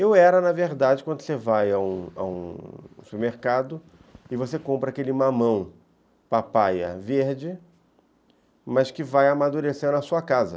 Eu era, na verdade, quando você vai a um a um supermercado e você compra aquele mamão papaya verde, mas que vai amadurecer na sua casa.